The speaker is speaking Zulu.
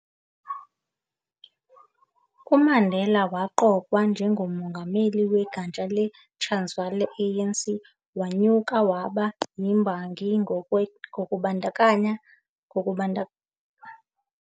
UMandela waqokwa njengoMongameli wegatsha le- Transvaal le-ANC, wenyuka waba yimbangi ngokubandakanyeka kwakhe eMkhankasweni Wokuhlubuka ngo-1952 kanye neCongress of People yango -1955.